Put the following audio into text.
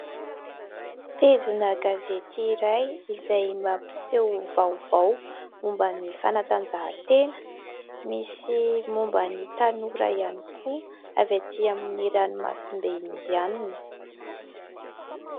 Pejina gazety iray izay mampiseho vaovao momban'ny fanatanjahantena misy momban'ny tanora ihany koa avy ety amin'ny ranomasimbe indiana.